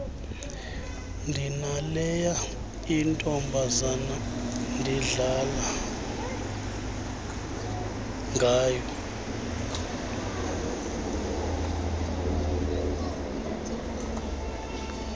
ndinaleya intombazana ndidlala